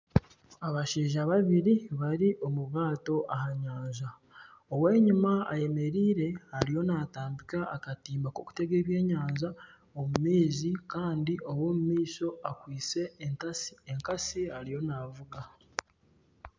Abashaija babiri bari omu ryato aha nyanja ow'enyuma ayemereire ariyo natambika akatimba k'okutega ebyenyanja omu maizi kandi ow'omumaisho akwaitse ekatsi ariyo navuga.